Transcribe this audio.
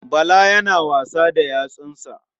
Bala yana wasa da yatsunsa.